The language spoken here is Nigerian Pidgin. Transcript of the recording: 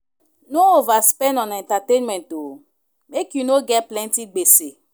No overspend on entertainment o, make you no get plenty gbese.